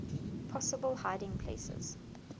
possible hiding places